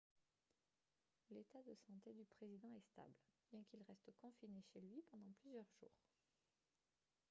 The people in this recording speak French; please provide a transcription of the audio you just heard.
l'état de santé du président est stable bien qu'il reste confiné chez lui pendant plusieurs jours